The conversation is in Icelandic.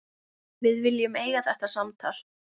Við viljum eiga þetta samtal.